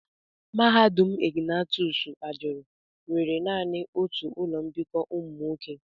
Mahadum Ignatius ajuru nwere nani otu ụlọ mbikọ ụmụ nwoke.